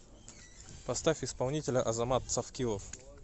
поставь исполнителя азамат цавкилов